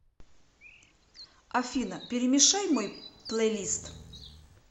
афина перемешай мой плейлист